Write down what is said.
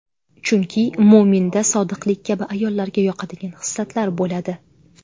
Chunki mo‘minda sodiqlik kabi ayollarga yoqadigan xislatlar bo‘ladi.